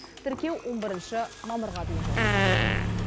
тіркеу он бірінші мамырға дейін жалғасады